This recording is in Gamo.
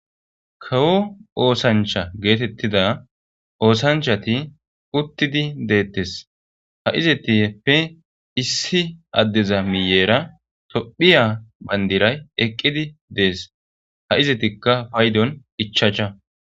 Kawo osanchcha getetiza kawo oosanchchati utidi detes izatappekka isineza achchara tophphiya bandiray eqid des izetas payidoykka ichchacha